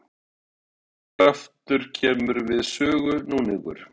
Þriðji kraftur kemur einnig við sögu, núningur.